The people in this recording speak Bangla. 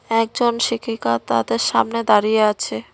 একজন শিক্ষিকা তাদের সামনে দাঁড়িয়ে আছে।